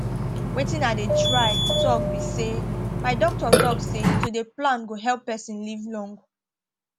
wetin i dey try talk be say my doctor talk say to dey plan go help person live long